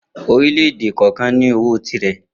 Orílè̩-èdè kò̩ò̩kan ní ó owó tirẹ̀.